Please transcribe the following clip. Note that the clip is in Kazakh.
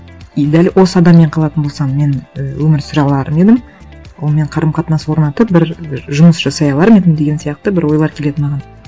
и дәл осы адаммен қалатын болсам мен і өмір сүре алар ма едім онымен қарым қатынас орнатып бір жұмыс жасай алар ма едім деген сияқты бір ойлар келеді маған